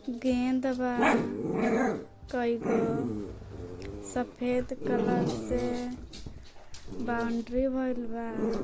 गेंद बा कई गो सफेद कलर से बाउन्डरी भइल बा।